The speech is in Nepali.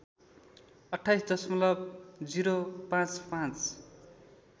२८ दशमलब ०५५